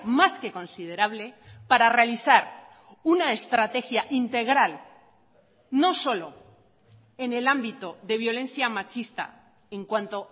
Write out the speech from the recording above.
más que considerable para realizar una estrategia integral no solo en el ámbito de violencia machista en cuanto